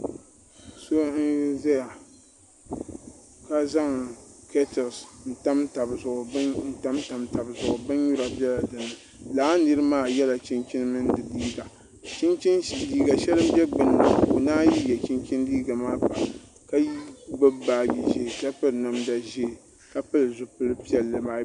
So n ʒɛya ka zaŋ kɛtins n tamtam tabi zuɣu bin nyura biɛla dinni laa nira maa yɛla chinchin mini di liiga liiga shɛli n bɛ gbunni ka o naan yɛ chinchin liiga maa pa ka gbubi baaji ʒiɛ ka piri namda ʒiɛ ka pili zipili piɛlli maa